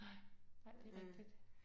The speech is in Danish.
Nej nej det rigtigt